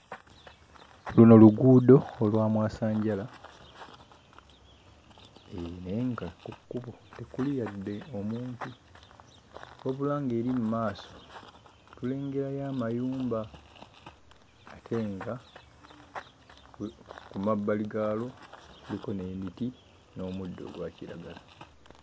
Luno luguud olwa mwasanjala naye nga ku kkubo tekuli yadde omuntu. Wabula ng'eri mu maaso tulengerayo amayumba ate nga ku mabbali gaalwo kuliko n'emiti n'omuddo ogwa kiragala.